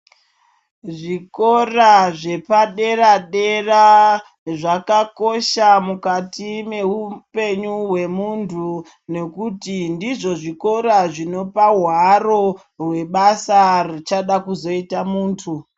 Zvikora zvepadera dera zvakakosha mukati mehupenyu hwemuntu nekuti ndizvo zvikora zvinopaharo rwebasa richada kuzoita muntu.